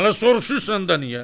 Hələ soruşursan da niyə?